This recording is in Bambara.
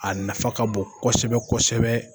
A nafa ka bon kosɛbɛ kosɛbɛ